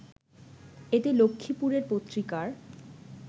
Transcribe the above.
এতে লক্ষ্মীপুরের পত্রিকার